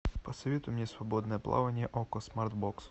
посоветуй мне свободное плавание окко смарт бокс